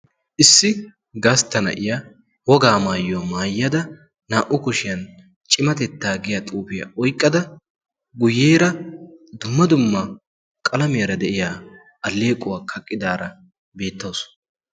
issi gastta na'iya wogaa maayyuwaa maayyada naa''u kushiyan cimatettaa giya xuufiyaa oyqqada guyyeera dumma dumma qalamiyara de'iya alleequwaa kaqqidaara beettaasu